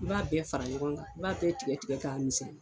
I b'a bɛɛ fara ɲɔgɔn kan i b'a bɛɛ tigɛ tigɛ misɛnya